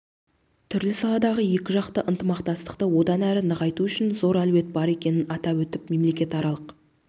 түрлі салалардағы екіжақты ынтымақтастықты одан әрі нығайту үшін зор әлеует бар екенін атап өтіп мемлекетаралық